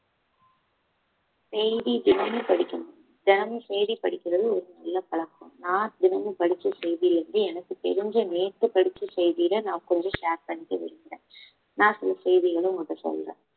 செய்தி தினமும் படிக்கணும் தினமும் செய்தி படிக்கிறது ஒரு நல்ல பழக்கம் நான் தினமும் படிச்ச செய்தியில இருந்து எனக்கு தெரிஞ்ச நேத்து படிச்ச செய்தியில நான் கொஞ்சம் share பண்ணிக்க விரும்புறேன் நான் சில செய்திகளை உங்ககிட்ட சொல்றேன்